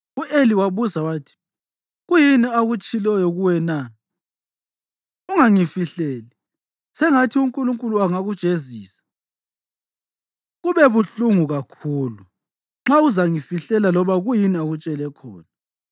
U-Eli wabuza wathi, “Kuyini akutshiloyo kuwe na? Ungangifihleli. Sengathi uNkulunkulu angakujezisa, kube buhlungu kakhulu, nxa uzangifihlela loba kuyini akutshele khona.”